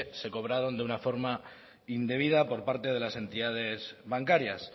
se cobraron de una forma indebida por parte de las entidades bancarias